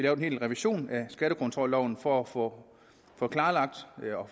en hel revision af skattekontrolloven for at få klarlagt